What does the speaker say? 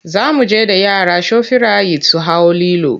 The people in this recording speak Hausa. Za mu je da yara shofirayit su hau lilo.